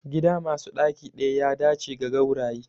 Gida masu ɗaki ɗaya ya dace da gauraye